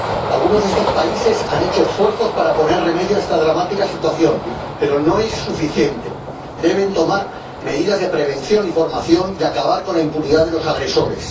Algunos de estos países han hecho esfuerzos para poner remedio a esta dramática situación, pero no es suficiente deben tomar medidas de prevención y formación y acabar con la impunidad de los agresores.